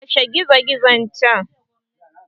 Kashe gizogizon can!